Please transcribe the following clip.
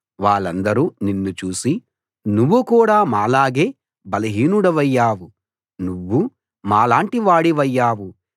వాళ్ళందరూ నిన్ను చూసి నువ్వు కూడా మాలాగే బలహీనుడివయ్యావు నువ్వూ మాలాంటి వాడివయ్యావు